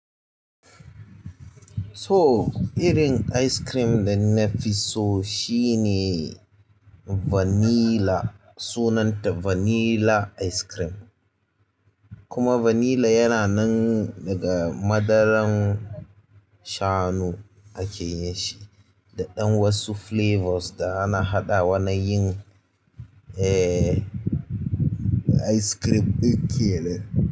So, irin ice cream da na fi so shine vanilla, sunanta vanilla ice cream. Kuma vanilla yana nan daga madaran shanu ake yin shi, da ɗan wasu 'flavors' da ana haɗa wa na yin, eh, ice cream ɗin kenan.